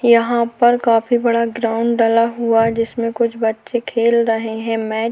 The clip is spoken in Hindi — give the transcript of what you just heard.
यहां पर काफी बड़ा ग्राउंड डला हुआ है जिसमें कुछ बच्चे खेल रहे है मैच ।